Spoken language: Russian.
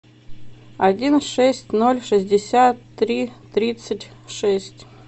один шесть ноль шестьдесят три тридцать шесть